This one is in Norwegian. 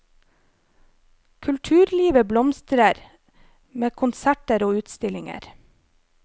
Kulturlivet blomstrer, med konserter og utstillinger.